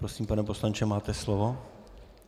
Prosím, pane poslanče, máte slovo.